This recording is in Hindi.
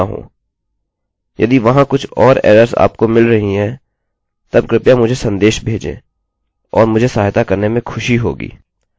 यदि वहाँ कुछ और एरर्सerrorsआपको मिल रही हैं तब कृपया मुझे सन्देश भेजें और मुझे सहायता करने में खुशी होगी